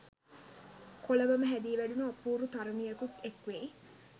කොළඹම හැදී වැඩුණු අපූරු තරුණියකුත් එක් වෙයි.